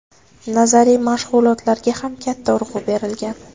Nazariy mashg‘ulotlarga ham katta urg‘u berilgan.